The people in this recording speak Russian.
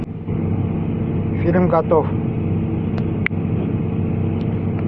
фильм готов